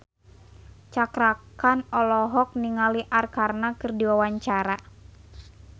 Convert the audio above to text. Cakra Khan olohok ningali Arkarna keur diwawancara